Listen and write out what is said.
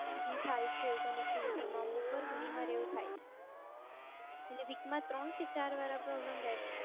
જી થાય છે એવું connectivity મા અમુક વાર ઘણી વાર એવું થાય છે week મા ત્રણ કે ચારવાર આ problem રહે જ છે.